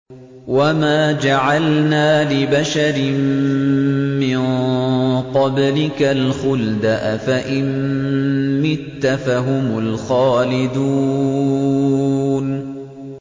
وَمَا جَعَلْنَا لِبَشَرٍ مِّن قَبْلِكَ الْخُلْدَ ۖ أَفَإِن مِّتَّ فَهُمُ الْخَالِدُونَ